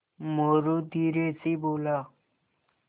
मोरू धीरे से बोला